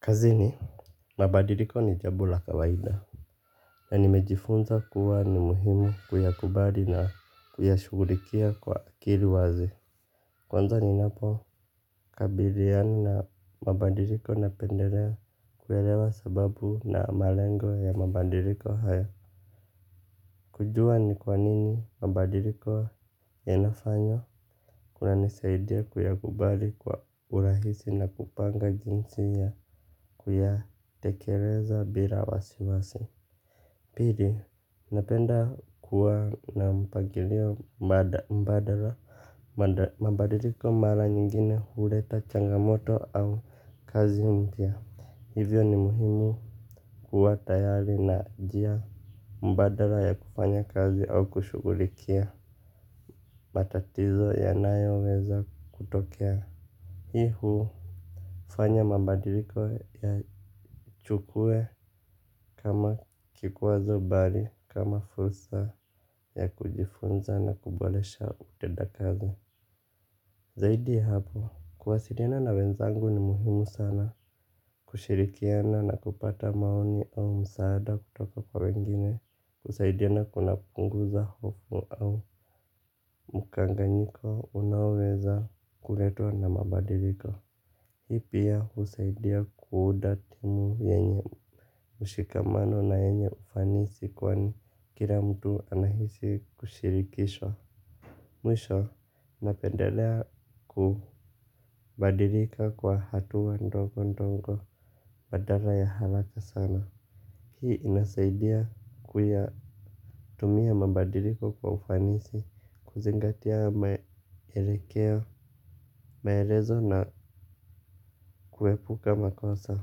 Kazini mabadiliko ni jambo la kawaida na nimejifunza kuwa ni muhimu kuyakubali na kuyashugulikia kwa kilu wazi. Kwanza ninapo kabiliana na mabadiliko napendelea kuyaelewa sababu na malengo ya mabadiliko haya. Kujua ni kwa nini mabadiliko yanafanywa. Kuna nisaidia kuyakubali kwa urahisi na kupanga jinsi ya kuyatekeleza bila wasiwasi. Pili, napenda kuwa na mpangilio mbadala. Mabadiliko mara nyingine huleta changamoto au kazi mpya. Hivyo ni muhimu kuwa tayari na njia mbadala ya kufanya kazi au kushugulikia matatizo yanayo weza kutokea hii hufanya mabadiliko yachukuwe kama kikwazo mbali kama fursa ya kujifunza na kuboresha utenda kazi. Zaidi ya hapo kuwasiliana na wenzangu ni muhimu sana kushirikiana na kupata maoni au msaada kutoka kwa wengine. Kusaidiana kuna punguza hofu au mukanganyiko unaweza kuletwa na mabadiliko. Hii pia husaidia kuunda timu yenye mshikamano na yenye ufanisi kwa ni kila mtu anahisi kushirikishwa. Mwisho napendelea kubadilika kwa hatua dogo dogo badala ya haraka sana. Hii inasaidia kuya tumia mabadiliko kwa ufanisi kuzingatia maelekeo maelezo na kuepuka makosa.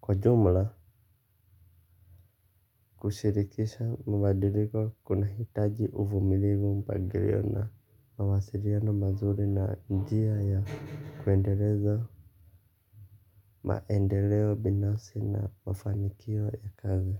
Kwa jumla kushirikisha mwadiliko kunahitaji uvumilivu mpagilio na mawasiliona mazuri na njia ya kuendeleza maendeleo binafsi na mafanikio ya kazi.